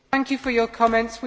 Thank you for your comments.